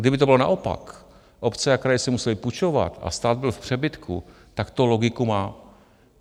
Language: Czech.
Kdyby to bylo naopak, obce a kraje si musely půjčovat a stát byl v přebytku, tak to logiku má.